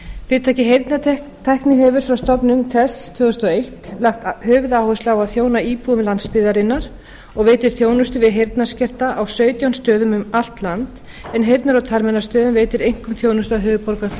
fyrirtækið heyrnartækni hefur frá stofnun þess tvö þúsund og eitt lagt höfuðáherslu á að þjóna íbúum landsbyggðarinnar og veita þjónustu við heyrnarskerta á sautján stöðum um allt land en heyrnar og talmeinastöðin veitir einkum þjónustu